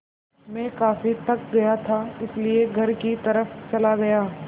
मैं काफ़ी थक गया था इसलिए घर की तरफ़ चला गया